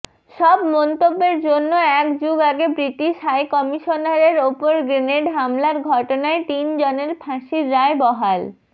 সব মন্তব্যের জন্য একযুগ আগে ব্রিটিশ হাইকমিশনারের ওপর গ্রেনেড হামলার ঘটনায় তিনজনের ফাঁসির রায় বহাল